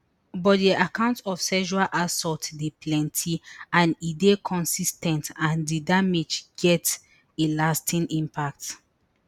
but di accounts of sexual assault dey plenti and e dey consis ten t and di damage get a lasting impact